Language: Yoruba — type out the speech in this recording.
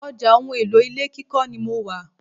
Ọjà ohun èlò ilé kíkọ́ ni mo wà.